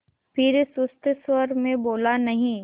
फिर सुस्त स्वर में बोला नहीं